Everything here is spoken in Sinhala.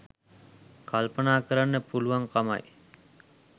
කල්පනා කරන්න පුළුවන්කමයි.